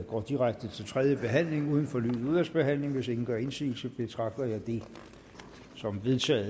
går direkte til tredje behandling uden fornyet udvalgsbehandling hvis ingen gør indsigelse betragter jeg det som vedtaget